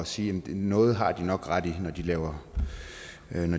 sige at noget har de nok ret i når de laver